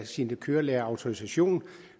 sin kørelærerautorisation